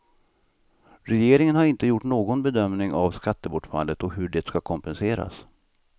Regeringen har inte gjort någon bedömning av skattebortfallet och hur det ska kompenseras.